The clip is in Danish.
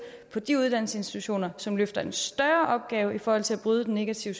på de uddannelsesinstitutioner som løfter en større opgave i forhold til at bryde den negative